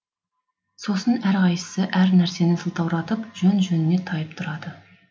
сосын әр қайсысы әр нәрсені сылтауратып жөн жөніне тайып тұрады